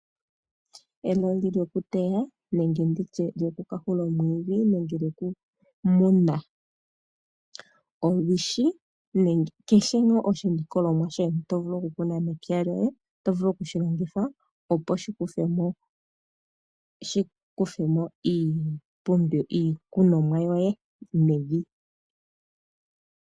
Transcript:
Embakumbaku lyokuteya nenge lyokumwa omwiidhi nenge okuteya olwishi nenge kehe ngaa oshilikolomwa shoye to vulu okukuna mepya lyoye oto vulu oku shi longitha, opo shi kuthe mo iikunomwa yoye mevi.